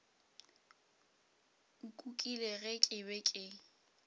nkukile ge ke be ke